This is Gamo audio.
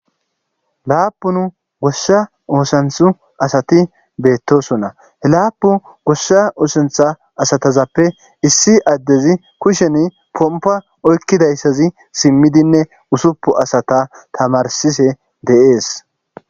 laapun goshsha oosanthu asati beettosona he laapu gossa uosuntha asatazappe issi addezi kushen pompa oykkidayssazi simmidinne usuppu asata tamarsise deees